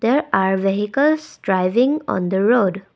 there are vehicles driving on the road.